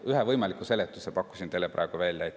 Ühe võimaliku seletuse pakkusin teile praegu välja.